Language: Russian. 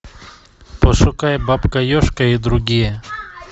пошукай бабка ежка и другие